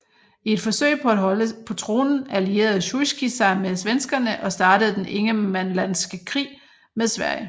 I et forsøg på at holde på tronen allierede Sjujskij sig med svenskerne og startede den ingermanlandske krig med Sverige